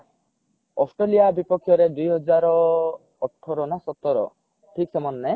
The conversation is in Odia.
ଅଷ୍ଟ୍ରେଲିଆ ବିପକ୍ଷ ରେ ଦୁଇ ହଜାର ଅଠର ନା ସତର ଠିକ ସେ ମାନେ ନାହିଁ